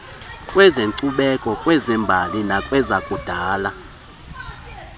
kwezenkcubeko kwezembali nakwezakudala